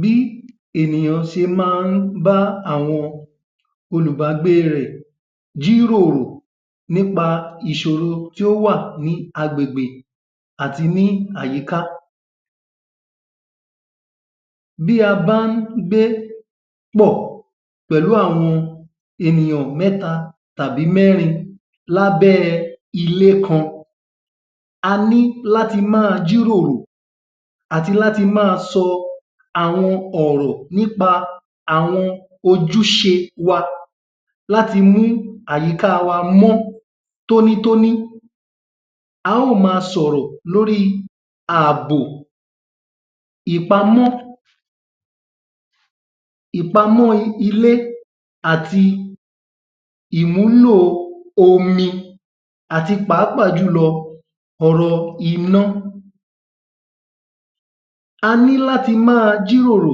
Bí ènìyàn ṣe máa ń bá àwọn olùbágbé rẹ̀ jíròrò nípa ìṣòro tó wà ní agbègbè àti ní àyíká. Bí a bá ń gbé pọ̀ pẹ̀lú àwọn ènìyàn mẹ́ta tàbí mẹ́rin lábẹ́ ilé kan, a ní láti máa jíròrò àti láti máa sọ àwọn ọ̀rọ̀ nípa àwọn ojúṣe wa láti mú àyíká wa mó tónítóní. A ó má sọ̀rọ̀ lórí ààbò, ìpamọ́ ìpamọ́ ilé àti ìmúlo omi àti pàápàá jù lọ ọ̀rọ̀ iná. A ní láti máa jíròrò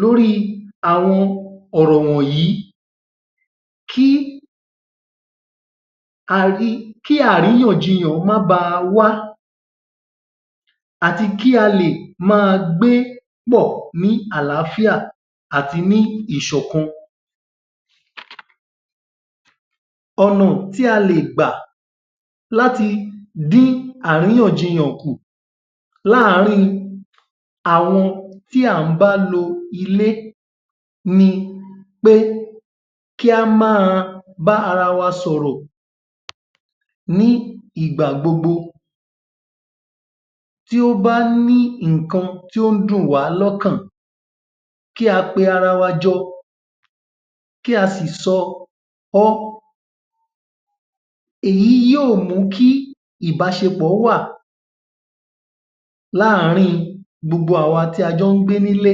lórí àwọn ọ̀rọ̀ wọ̀nyí kí um àríyànjiyàn má ba wá àti kí a lè máa gbé pọ̀ ni àlàáfíà àti ní ìṣọ̀kan. Ọ̀nà tí a lè gbà láti dín àríyànjiyàn kù láàárín àwọn tí á bá lo ilé ni pé kí a máa bá ara wa sọ̀rọ̀ ní ìgbà gbogbo, Tí ó bá ní nǹkan tí ó dùn wa lọ́kàn kí a pé ara wa jọ, kí a sì sọ ọ́. Èyí yóò mú kí ìbáṣepọ̀ wà láàárín gbogbo àwọn tí a jọ́ gbé nílé.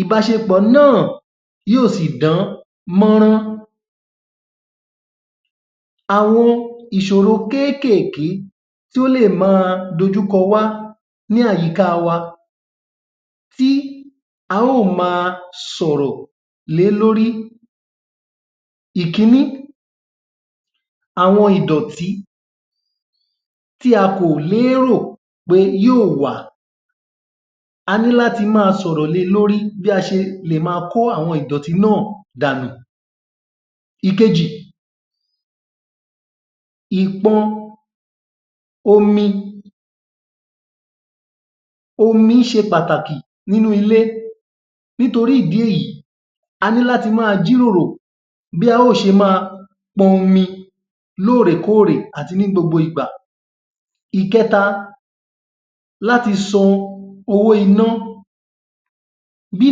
Ìbáṣepọ̀ náà yóò sì dán mọ́rán. Àwọn ìṣòro kéékèèké tó lè má dojú kọ wá ní àyíká wa tí a ó máa sọ̀rọ̀ lé lórí Ìkíní. Àwọn ìdọ̀tí tí a kò lérò pé yóò wá, a ní láti máa sọ̀rọ̀ lé lórí bí a ṣe lè má kó ìdọ̀tí náà dànù. Ìkejì. Ìpọ omi. Omi ṣe pàtàkì nínú ilé nítorí ìdí èyí a ní láti máa jíròrò bí á ó ṣe máa pọmi lóòrèkóòrè àti ní gbogbo ìgbà. Ìkẹta. Láti san owó iná, Bí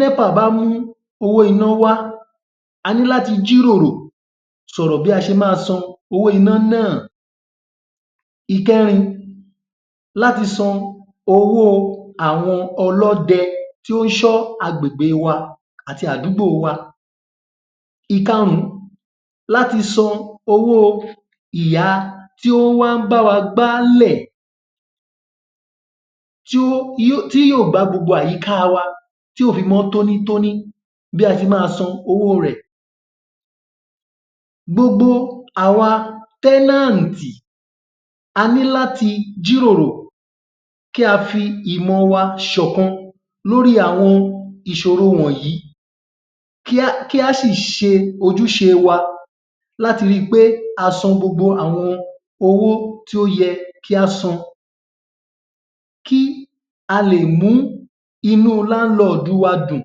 Népà bá mú owó iná wá, a ní láti jíròrò sọ̀rọ̀ bí a ṣe má sanwó iná náà. Ìkẹrin. Láti san owó àwọn ọlọ́dẹ tí ó ṣọ́ àgbègbè wa àti àdúgbò wa. Ìkarùn-ún. Láti san owó ìyá tí ó wá n bá wa gbálẹ̀ tí yóò gbá gbogbo àyíká wa ti yóò fi mó tónítóní, bí a ṣe má san owó rẹ̀. Gbogbo àwa tẹ́ẹ́nàtì, a ní láti jíròrò kí a fi ìmọ̀ wa ṣọ̀kan lórí àwọn ìṣòro wọ̀nyí, kí á sì ṣe ojúṣe wa, láti rí pé a san gbogbo àwọn owó tí ó yẹ kí á san kí a lè mú inú [landlord] wa dùn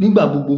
nígbà gbogbo.